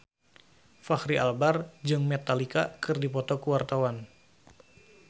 Fachri Albar jeung Metallica keur dipoto ku wartawan